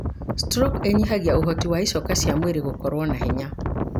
Stroke ĩnyihagia ũhoti wa icoka cia mwĩrĩ gũkorwo na hinya.